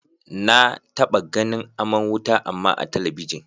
Na taɓa ganin aman wuta amma a talabijin.